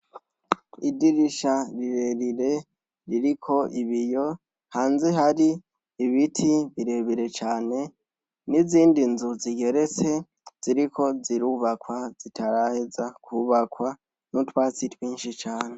Idirisha rirerire ririko ibiyo. Hanze hari ibiti birebere cane n'izindi nzu zigeretse ziriko zirubakwa zitaraheza kubakwa, n'utwatsi twinshi cyane.